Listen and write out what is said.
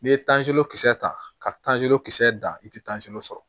N'i ye tanzolo kisɛ ta kazolo kisɛ dan i tɛ sɔrɔ